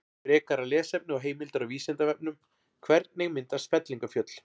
Frekara lesefni og heimildir á Vísindavefnum: Hvernig myndast fellingafjöll?